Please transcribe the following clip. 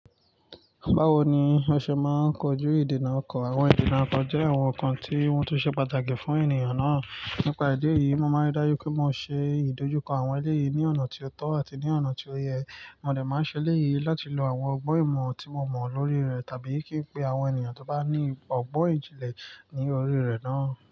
Bawo ni ọṣẹ maa n kọju idena ọkọ? Awon idena ọkọ jẹ awọn nkan ti wọn tọ ṣe pataki fun eniyan naa. Nipa idẹ yìí, mo máa n daju pe mo ṣe idojukọ awọn eléyìí l ni ọna ti o tọ ati ni ọna ti o yẹ. Mo de ma ṣe lẹ yi latí lọ́ àwọn ọgbọn ìmọ ti mo mọ lori rẹ tabi ki n pe àwọn ènìyàn ti o ba ni ọgbọn ijinlẹ ni ori rẹ naa.